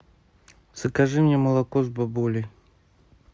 закажи мне молоко с бабулей